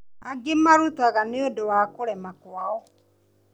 Angĩ marutaga nĩũndũ wa kũrema kwao